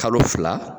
Kalo fila